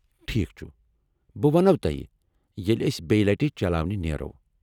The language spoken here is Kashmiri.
ٹھیک چُھ ، بہٕ وَنَو تۄہہ ییٚلہِ أسۍ بیٚیہ لٹہِ چلاوٕنہِ نیرو۔